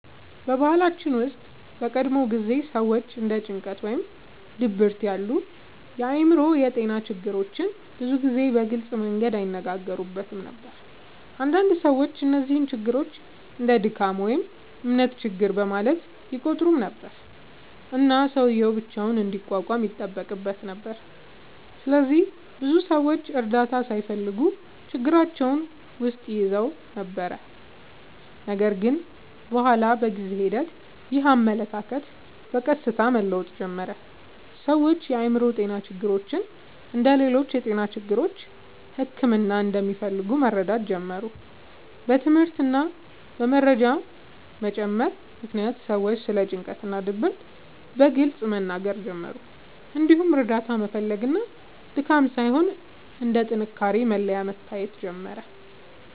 በባህላችን ውስጥ በቀድሞ ጊዜ ሰዎች እንደ ጭንቀት ወይም ድብርት ያሉ የአእምሮ ጤና ችግሮችን ብዙ ጊዜ በግልጽ መንገድ አይነጋገሩበትም ነበር። አንዳንድ ሰዎች እነዚህን ችግሮች እንደ “ድካም” ወይም “እምነት ችግር” በማለት ይቆጥሩ ነበር፣ እና ሰውዬው ብቻውን እንዲቋቋም ይጠበቅበት ነበር። ስለዚህ ብዙ ሰዎች እርዳታ ሳይፈልጉ ችግራቸውን ውስጥ ይይዙ ነበር። ነገር ግን በኋላ በጊዜ ሂደት ይህ አመለካከት በቀስታ መለወጥ ጀመረ። ሰዎች የአእምሮ ጤና ችግሮች እንደ ሌሎች የጤና ችግሮች ሕክምና እንደሚፈልጉ መረዳት ጀመሩ። በትምህርት እና በመረጃ መጨመር ምክንያት ሰዎች ስለ ጭንቀት እና ድብርት በግልጽ መናገር ጀመሩ፣ እንዲሁም እርዳታ መፈለግ እንደ ድካም ሳይሆን እንደ ጥንካሬ መለያ መታየት ጀመረ።